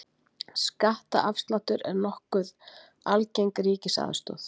Skattaafsláttur er nokkuð algeng ríkisaðstoð.